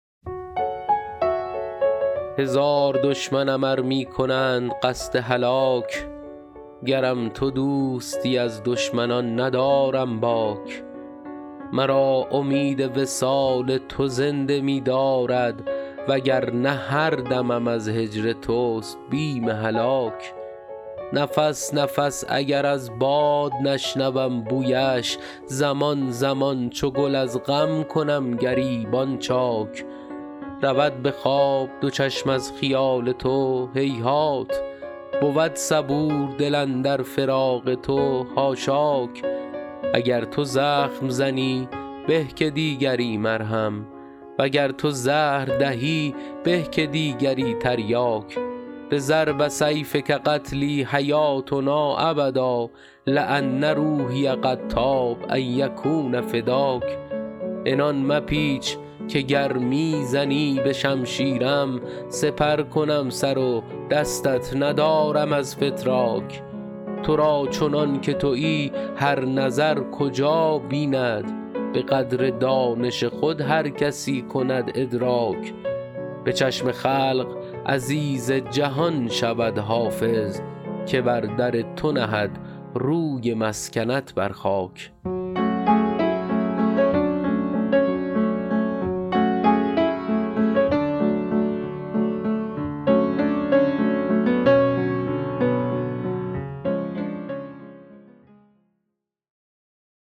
هزار دشمنم ار می کنند قصد هلاک گرم تو دوستی از دشمنان ندارم باک مرا امید وصال تو زنده می دارد و گر نه هر دمم از هجر توست بیم هلاک نفس نفس اگر از باد نشنوم بویش زمان زمان چو گل از غم کنم گریبان چاک رود به خواب دو چشم از خیال تو هیهات بود صبور دل اندر فراق تو حاشاک اگر تو زخم زنی به که دیگری مرهم و گر تو زهر دهی به که دیگری تریاک بضرب سیفک قتلی حیاتنا ابدا لأن روحی قد طاب ان یکون فداک عنان مپیچ که گر می زنی به شمشیرم سپر کنم سر و دستت ندارم از فتراک تو را چنان که تویی هر نظر کجا بیند به قدر دانش خود هر کسی کند ادراک به چشم خلق عزیز جهان شود حافظ که بر در تو نهد روی مسکنت بر خاک